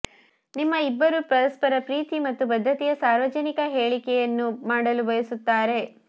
ನಿಮ್ಮ ಇಬ್ಬರು ಪರಸ್ಪರರ ಪ್ರೀತಿ ಮತ್ತು ಬದ್ಧತೆಯ ಸಾರ್ವಜನಿಕ ಹೇಳಿಕೆಯನ್ನು ಮಾಡಲು ಬಯಸುತ್ತಾರೆ